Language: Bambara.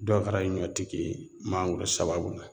Dɔw kɛra ɲɔtigi ye mangoro sababu la